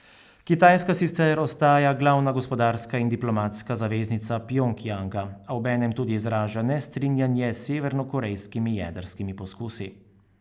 Kitajska sicer ostaja glavna gospodarska in diplomatska zaveznica Pjongjanga, a obenem tudi izraža nestrinjanje s severnokorejskimi jedrskimi poskusi.